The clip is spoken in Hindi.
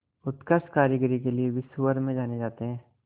उत्कृष्ट कारीगरी के लिये विश्वभर में जाने जाते हैं